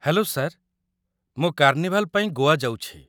Hello sir, ମୁଁ carnival ପାଇଁ ଗୋଆ ଯାଉଛି ।